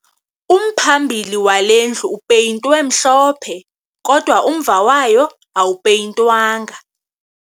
Umphambili wale ndlu upeyintwe mhlophe kodwa umva wayo awupeyintwanga